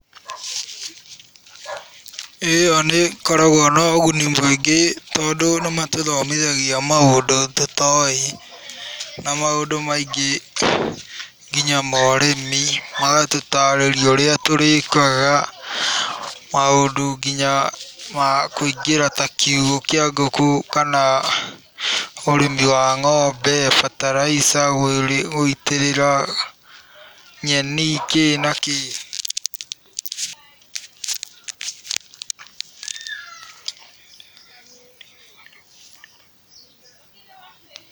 Ĩyo nĩ ĩkoragwo na ũguni mũingĩ tondũ nĩ matũthomithagia maũndũ tũtoĩ. Na maũndũ maingĩ nginya ma ũrĩmi, magatũtarĩria ũria tũrĩkaga, maũndũ nginya ma kũongĩra ta kiugũ kĩa ngũkũ kana ũrĩmi wa ng'ombe, bataraitha gũitĩrĩra, nyeni, kĩ na kĩ.